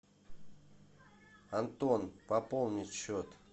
антон пополнить счет